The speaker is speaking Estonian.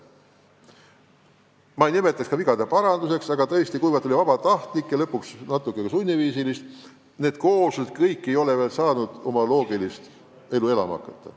Ma ei räägiks ka vigade parandusest, aga tõesti, kuna ühinemine oli põhiliselt küll vabatahtlik, aga lõpuks natuke ka sunniviisiline, siis need kooslused kõik ei ole veel saanud oma loogilist elu elama hakata.